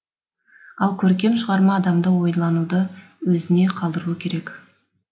ал көркем шығарма адамды ойлануды өзіне қалдыруы керек